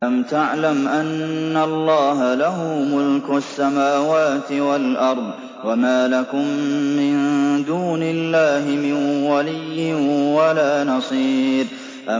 أَلَمْ تَعْلَمْ أَنَّ اللَّهَ لَهُ مُلْكُ السَّمَاوَاتِ وَالْأَرْضِ ۗ وَمَا لَكُم مِّن دُونِ اللَّهِ مِن وَلِيٍّ وَلَا نَصِيرٍ